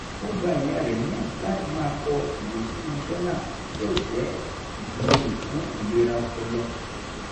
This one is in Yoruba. ó gba ìyá rẹ̀ níyànjú láti máa kọ ìwé sínú jọ́nà yóò jẹ́ ìtìlẹ́yìn fún ìlera ọpọlọ